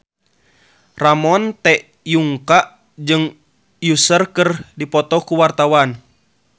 Ramon T. Yungka jeung Usher keur dipoto ku wartawan